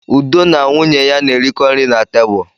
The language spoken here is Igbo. Udo na nwunye ya na-erikọ nri na tebụl.